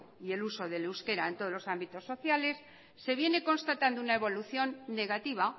y el uso del euskera en todos los ámbitos sociales se viene constatando una evolución negativa